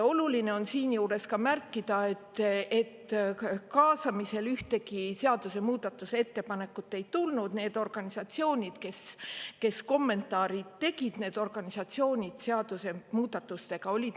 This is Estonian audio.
Oluline on siinjuures märkida, et kaasamise käigus ühtegi muudatusettepanekut ei tulnud, need organisatsioonid, kes kommentaare esitasid, olid seadusemuudatustega nõus.